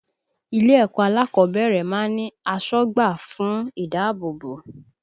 Ilé ẹ̀kọ́ alákọ̀ọ́bẹ̀rẹ̀ máa ń ní asọ́gbà fún ìdáàbòbò